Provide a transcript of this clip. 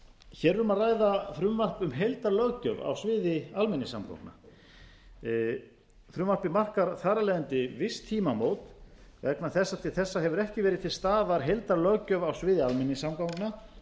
er um að ræða frumvarp um heildarlöggjöf á sviði almenningssamgangna frumvarpið markar þar af leiðandi viss tímamót vegna þess að til þessa hefur ekki verið til staðar heildarlöggjöf á sviði almenningssamgangna